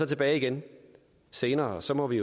tilbage igen senere og så må vi